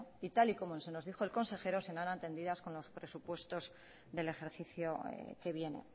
y tal y como se nos dijo el consejero serán con los presupuestos del ejercicio que viene